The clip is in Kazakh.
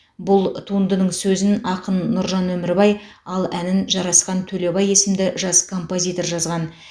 бұл туындының сөзін ақын нұржан өмірбай ал әнін жарасхан төлебай есімді жас композитор жазған